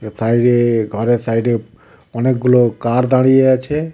বাইরে ঘরের সাইডে অনেকগুলো কার দাঁড়িয়ে আছে।